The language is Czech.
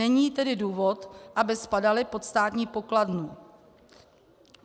Není tedy důvod, aby spadaly pod státní pokladnu.